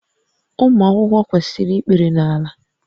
Ụmụ akwụkwọ kwesịrị ikpere n'ala